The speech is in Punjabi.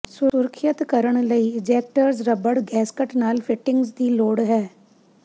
ਸੁਰੱਖਿਅਤ ਕਰਨ ਲਈ ਇੰਜੈਕਟਰਜ ਰਬੜ ਗੈਸਕਟ ਨਾਲ ਫਿਟਿੰਗਸ ਦੀ ਲੋੜ ਹੈ